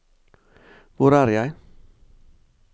hvor er jeg